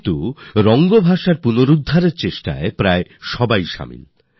কিন্তু রং ভাষা বাঁচাতে সবাই একজোট হয়ে গেল